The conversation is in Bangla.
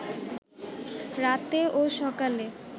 রাতে ও সকালে